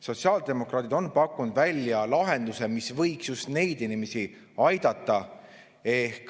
Sotsiaaldemokraadid on pakkunud välja lahenduse, mis võiks just neid inimesi aidata.